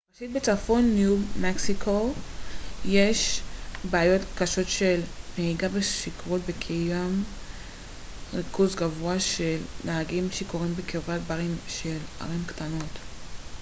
ראשית בצפון ניו מקסיקו יש בעיות קשות של נהיגה בשכרות וקיים ריכוז גבוה של נהגים שיכורים בקרבת ברים של ערים קטנות